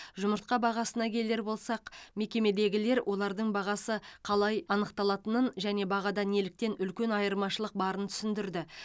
жұмыртқа бағасына келер болсақ мекемедегілер олардың бағасы қалай анықталатынын және бағада неліктен үлкен айырмашылық барын түсіндірді